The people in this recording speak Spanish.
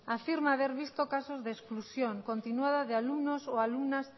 afirma haber visto casos de exclusión continuada de alumnos o alumnas